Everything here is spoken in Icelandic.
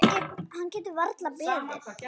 Hann getur varla beðið.